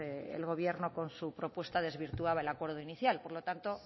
el gobierno con su propuesta desvirtuaba el acuerdo inicial por lo tanto